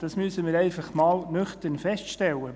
Das müssen wir einfach einmal nüchtern feststellen.